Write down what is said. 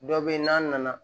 Dɔ bɛ yen n'a nana